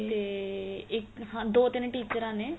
ਤੇ ਇੱਕ ਹਾਂ ਦੋ ਤਿੰਨ ਟਿਚਰਾ ਨੇ